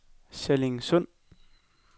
Sallingsund